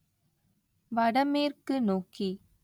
வடமேற்கு நோக்கி